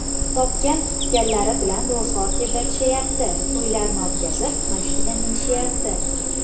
Topgan-tutganlari bilan ro‘zg‘or tebratishayapti, to‘ylarni o‘tkazib, mashina minishayapti.